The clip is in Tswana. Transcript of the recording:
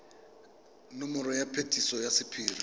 nomoro ya phetiso ya sephiri